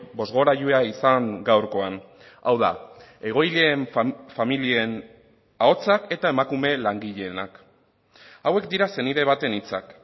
bozgorailua izan gaurkoan hau da egoileen familien ahotsak eta emakume langileenak hauek dira senide baten hitzak